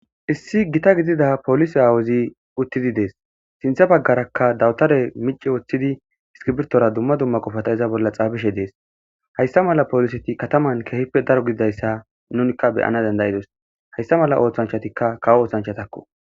issi gita gidida polisi aawuzi uttidi dees sintha baggarakka dawutare mici woththidi iskibirtora dumma dumma qofata iza bolla xaabishe dees hayssa mala pooliseti kataman keehippe daro gididayssa nunikka beyana dandayidos hayssa mala oothanchatikka kawo oothanchatakko